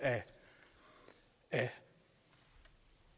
af